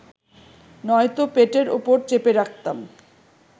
নয়তো পেটের ওপর চেপে রাখতাম